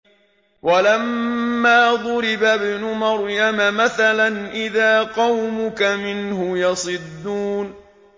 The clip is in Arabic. ۞ وَلَمَّا ضُرِبَ ابْنُ مَرْيَمَ مَثَلًا إِذَا قَوْمُكَ مِنْهُ يَصِدُّونَ